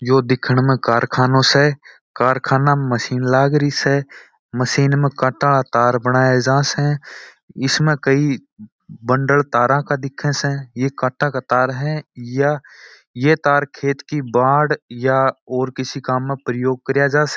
ये दिखने में कारखाना स कारखाना मशीन लग रही स मशीन में काटा तार बनाया जाता स इसमें कई बंडल तार का दिख रहा स ये काटा का तार है ये तार खेत की बाड़ या और किसी काम में प्रयोग करा जा स।